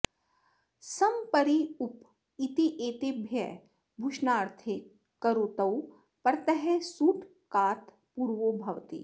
सम् परि उप इत्येतेभ्यः भुषणार्थे करोतौ परतः सुट् कात् पूर्वो भवति